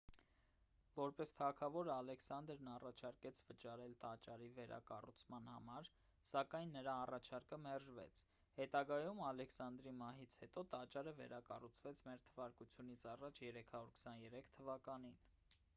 որպես թագավոր ալեքսանդրն առաջարկեց վճարել տաճարի վերակառուցման համար սակայն նրա առաջարկը մերժվեց հետագայում ալեքսանդրի մահից հետո տաճարը վերակառուցվեց մ.թ.ա. 323 թվականին